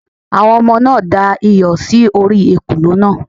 Àwọn ọmọ náà da iyọ̀ sí orí ekòló náà